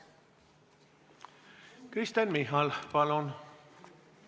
Kristen Michal, palun!